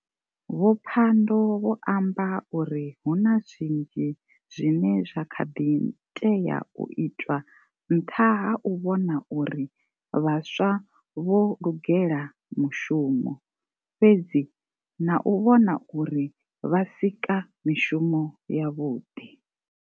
Vho Pandor vho amba uri hu na zwinzhi zwine zwa kha ḓi tea u itwa nṱha ha u vhona uri vhaswa vho lugela mushumo, fhedzi na u vhona uri vha sika mishumo ya vhuḓi.